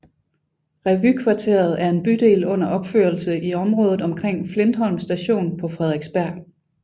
Revykvarteret er en bydel under opførelse i området omkring Flintholm Station på Frederiksberg